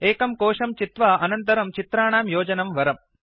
एकं कोशं चित्वा अनन्तरं चित्राणां योजनं वरम्